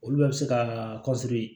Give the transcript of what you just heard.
Olu bɛɛ bɛ se ka